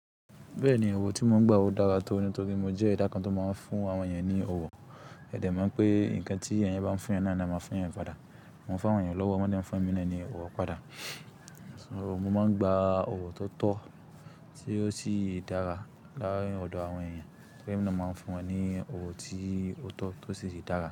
Bẹ́ẹ̀ni, òwò tí mo ń gba ò dára to ní tó rí. Mo jẹ́ ẹda kan tó máa ń fún àwọn ènìyàn ní òwò. Ẹ̀dẹ̀ máa ń pé nǹkan tí ènìyàn bá n fún ẹyan náà ni a máa fún ẹyan àpáda. Mo ń fún àwọn ènìyàn lọ́wọ́, wọ́n dẹ̀ ń fún émi náà ni òwò padà. Mo máa ń gba òwò tó tọ́ tí ó sì dára láàrín ọ̀dọ̀ àwọn ènìyàn. Pé mo máa ń fún wọn ní òwò tí ó tọ́ tó sì dára.